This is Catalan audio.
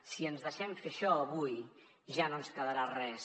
si ens deixem fer això avui ja no ens quedarà res